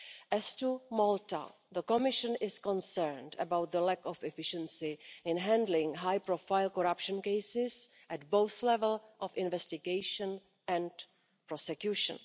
As for Malta, the Commission is concerned about the lack of efficiency in handling high profile corruption cases at both the level of investigation and prosecution.